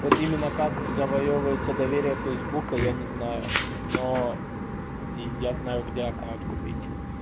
вот именно как завоёвывается доверия фейсбука я не знаю но я знаю где аккаунт купить